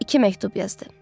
İki məktub yazdı.